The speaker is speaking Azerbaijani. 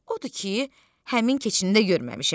Odur ki, həmin keçini də görməmişəm.